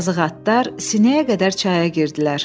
Yazıq atlar sinəyə qədər çaya girdilər.